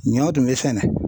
Ɲɔ tun bɛ sɛnɛ.